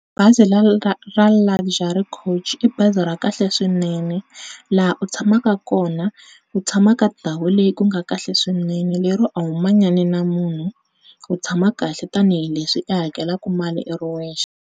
Bazi ra Luxury coach i bazi ra kahle swinene laha u tshamaka kona u tshamaka ndhawu leyi ku nga kahle swinene le ro a wu manyani na mhunhu wu tshama kahle tanihileswi u hakelaka mali u ri yexe.